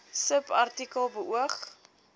subartikel beoog